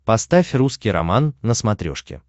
поставь русский роман на смотрешке